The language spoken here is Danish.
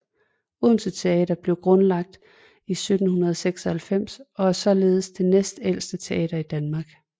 Odense Teater blev grundlagt i 1796 og er således den næstældste teater i Danmark